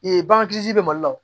bagan kirisi bɛ mali la wo